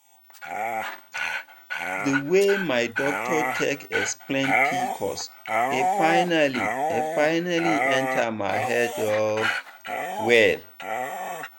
the way my doctor take explain pcos e finally e finally enter my head um well.